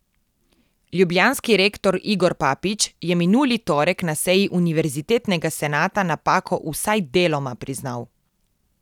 Ljubljanski rektor Igor Papič je minuli torek na seji univerzitetnega senata napako vsaj deloma priznal.